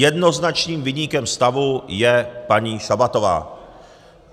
Jednoznačným viníkem stavu je paní Šabatová.